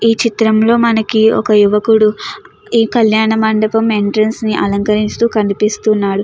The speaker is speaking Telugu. ఈ చిత్రంలో మనకి ఒక యువకుడు ఈ కళ్యాణ మండపం ఎంట్రెన్స్ ని అలంకరిస్తూ కనిపిస్తున్నాడు.